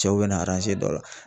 Cɛw bɛna dɔ la.